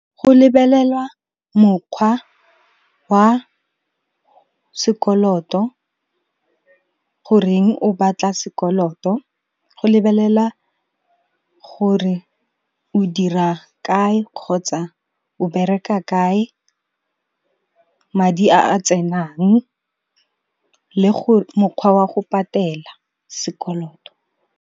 Go lebelelwa mokgwa wa sekoloto, goreng o batla sekoloto, go lebelelwa gore o dira kae kgotsa o bereka kae, madi a a tsenang le mokgwa wa go patela sekoloto.